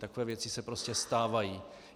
Takové věci se prostě stávají.